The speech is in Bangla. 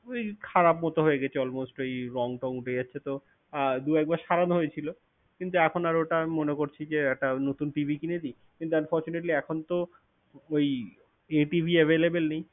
ঐ, খারাপ মত হয়ে গেছে almost ওই রঙ টং উঠে যাচ্ছে। তো দু একবার সারানো হয়েছিল। কিন্তু এখন আর ওটা আমি মনে করছি যে, একটা নতুন TV কিনে দিই। কিন্তু unfortunately এখন তো ওই এ TV available নেই।